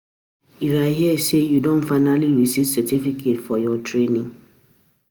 I hear say you don finally receive certificate for your training